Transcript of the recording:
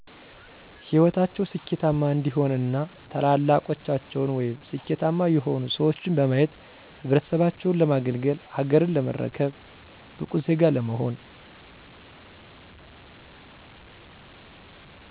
ሂወታቸው ስኬታማ እንዲሆን እና ታላላቆቻቸውን ወይም ስኬታማ የሆኑ ሰዎችን በማየት ህብረተሰባቸውን ለማገልገል፣ ሀገርን ለመረከብ፣ ብቁ ዜጋ ለመሆን።